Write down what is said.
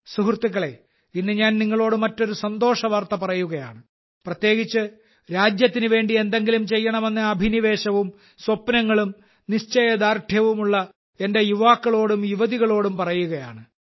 സുഹൃത്തുക്കളേ ഇന്ന് ഞാൻ നിങ്ങളോട് മറ്റൊരു സന്തോഷവാർത്ത പറയുകയാണ് പ്രത്യേകിച്ച് രാജ്യത്തിന് വേണ്ടി എന്തെങ്കിലും ചെയ്യണമെന്ന അഭിനിവേശവും സ്വപ്നങ്ങളും നിശ്ചയദാർഢ്യവുമുള്ള എന്റെ യുവാക്കളോടും യുവതികളോടും പറയുകയാണ്